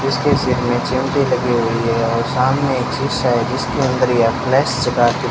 उसके सिर में भी लगी हुई है और सामने एक है जिसके अंदर ये अपने --